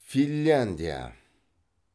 финляндия